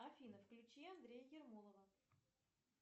афина включи андрея ермолова